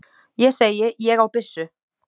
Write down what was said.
Ég segi: Ég á byssu.